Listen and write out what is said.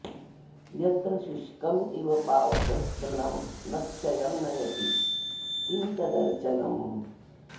यत्र शुष्कमिव पावकस्तृणं न क्षयं नयति किं तदर्चनम्